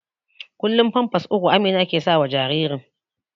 kullum pampas uku Amina ke sawa jaririn